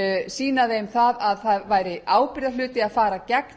sýna þeim að það væri ábyrgðarhluti að fara gegn